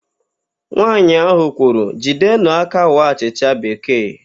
Nwaanyị ahụ kwuru, "jidenụ aka waa achịcha bekee"!